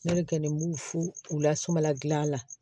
N'olu kɔni b'u fo u lasumala gilan la